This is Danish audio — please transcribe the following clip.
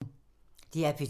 DR P2